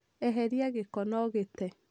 Eheria gĩko na ũgĩte